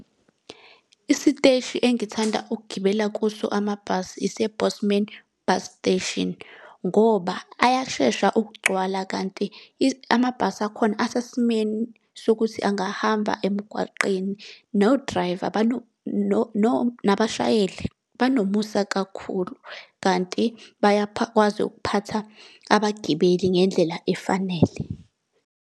Isiteshi engithanda ukugibela kuso amabhasi ise-Bosman Bus Station, ngoba ayashesha ukugcwala, kanti amabhasi akhona asesimeni sokuthi angahamba emgwaqeni. No-driver nabashayeli banomusa kakhulu kanti bayakwazi ukuphatha abagibeli ngendlela efanele.